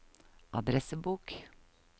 adressebok